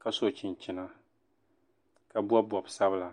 ka so chinchina ka bɔbi bɔb' sabila